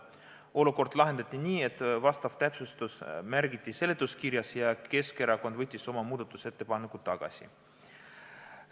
Olukord lahendati nii, et vastav täpsustus märgiti seletuskirja ja Keskerakond võttis oma muudatusettepaneku tagasi.